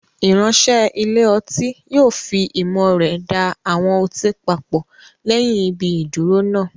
Ìránṣẹ́ ilé ọtí yóò fi ìmọ̀ rẹ̀ da àwọn ọtí papọ̀ lẹ́yìn ibi ìdúró náà.